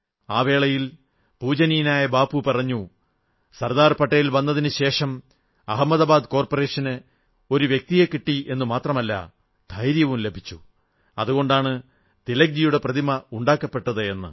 ആ വേളയിൽ പൂജ്യനീയ ബാപ്പു പറഞ്ഞു സർദാർ പട്ടേൽ വന്നതിനു ശേഷം അഹമദാബാദ് കോർപ്പറേഷന് ഒരു വ്യക്തിയെ കിട്ടിയെന്നു മാത്രമല്ല ധൈര്യവും ലഭിച്ചു അതുകൊണ്ടാണ് തിലക്ജിയുടെ പ്രതിമ ഉണ്ടാക്കപ്പെട്ടത് എന്ന്